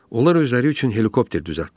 Onlar özləri üçün helikopter düzəltdilər.